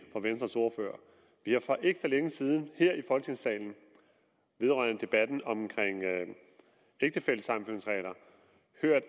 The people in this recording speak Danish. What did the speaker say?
fra venstres ordfører vi har for ikke så længe siden her i folketingssalen vedrørende debatten om ægtefællesammenføringsregler